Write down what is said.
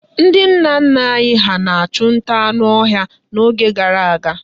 Ndị nna nna anyị ha chụrụ nta anụ ọhịa n'oge gara aga.